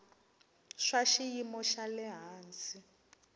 swa xiyimo xa le hansi